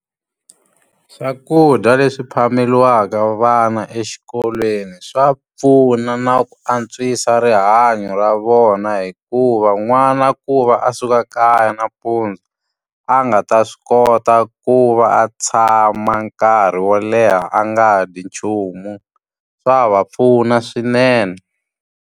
Swakudya leswi phameriwaka vana exikolweni swa pfuna na ku antswisa rihanyo ra vona hikuva, n'wana ku va a suka kaya nampundzu a nga ta swi kota ku va a tshama nkarhi wo leha a nga dyi nchumu. Swa va pfuna swinene.